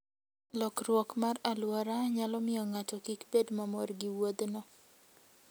Lokruok mar alwora nyalo miyo ng'ato kik bed mamor gi wuodhno.